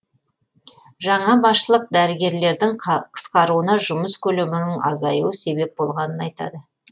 жаңа басшылық дәрігерлердің қысқаруына жұмыс көлемінің азаюы себеп болғанын айтады